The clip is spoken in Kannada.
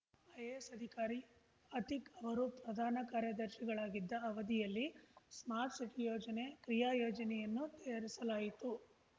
ಐಎಎಸ್ ಅಧಿಕಾರಿ ಅತೀಕ್ ಅವರು ಪ್ರಧಾನ ಕಾರ್ಯದರ್ಶಿಗಳಾಗಿದ್ದ ಅವಧಿಯಲ್ಲಿ ಸ್ಮಾರ್ಟ್ ಸಿಟಿ ಯೋಜನೆ ಕ್ರಿಯಾ ಯೋಜನೆಯನ್ನು ತಯಾರಿಸಲಾಯಿತು